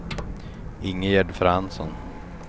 Ingegärd Fransson